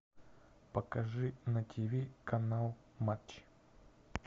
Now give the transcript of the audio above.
покажи на ти ви канал матч